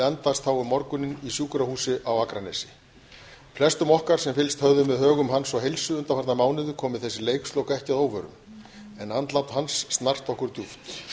andast þá um morguninn í sjúkrahúsi á akranesi flestum okkar sem fylgst höfðum með högum hans og heilsu undanfarna mánuði komu þessi leikslok ekki að óvörum en andlát hans snart okkur djúpt